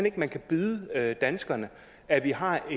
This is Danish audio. ikke at man kan byde danskerne at vi har